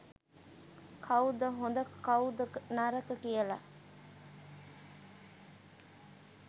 කවුද හොඳ කවුද නරක කියලා.